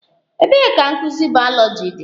Ebee ka nkuzi bayoloji dị?